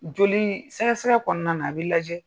Joli sɛgɛsɛgɛ kɔnɔna na a bi lajɛ